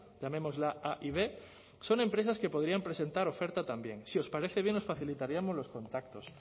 empresas llamémosla a y b son empresas que podrían presentar oferta si os parece bien os facilitaríamos los contactos